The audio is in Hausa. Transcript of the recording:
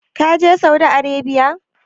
Ka je Saudi Arabiya?